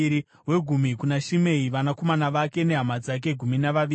wegumi kuna Shimei, vanakomana vake nehama dzake—gumi navaviri;